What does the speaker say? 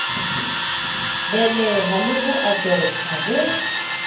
beleha le ho adoptha ho